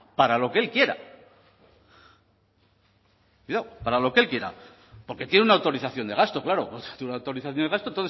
para lo que él quiera cuidado para lo que él quiera porque tiene una autorización de gasto tiene una autorización de gasto